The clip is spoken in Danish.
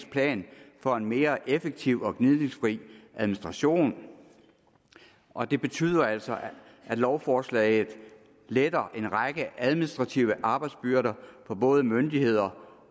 plan for en mere effektiv og gnidningsfri administration og det betyder altså at lovforslaget letter en række administrative arbejdsbyrder for både myndigheder